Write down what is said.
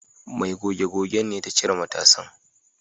Mai goge gogen ce ta cire matasan